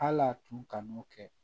Hal'a tun kan'o kɛ